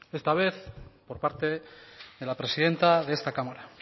esta vez por parte de la presidenta de esta cámara